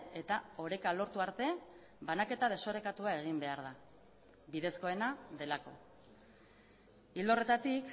eta oreka lortu arte banaketa desorekatua egin behar da bidezkoena delako ildo horretatik